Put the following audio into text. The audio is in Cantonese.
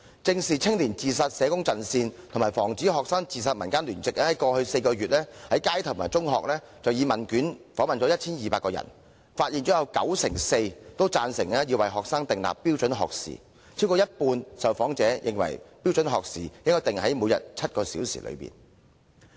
正視青年自殺社工陣線及防止學生自殺民間聯席在過去4個月，以問卷方式分別在街上和中學訪問 1,200 名人士，發現有九成四贊成要為學生訂立標準學時，更有超過半數受訪者認為標準學時應訂為每天7小時以內。